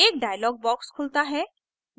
एक dialog box खुलता है